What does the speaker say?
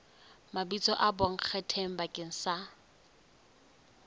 mabitso a bonkgetheng bakeng sa